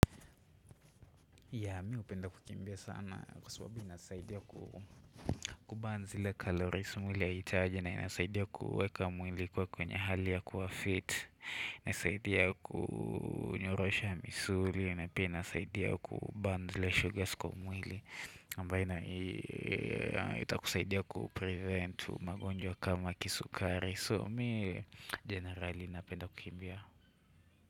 Ya mi hupenda kukimbia sana kwa sababu inasaidia ku kuban zile carolies mwili haihitaji na inasaidia kuweka mwili kwa kwenye hali ya kuwa fit inasaidia kunyorosha misuli inasaidia kuban zile sugars kwa mwili ambayo itakusaidia kupreventu magonjwa kama kisukari so mi generali inapenda kukimbia.